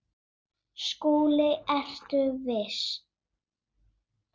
SKÚLI: Ertu viss?